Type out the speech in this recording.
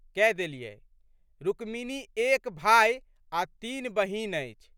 कए देलियै. रुक्मिनी एक भाइ आ तीन बहिन अछि।